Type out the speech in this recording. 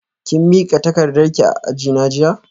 Kin mika takardarki a ajina jiya?